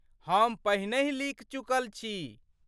हम पहिनहि लिखि चुकल छी।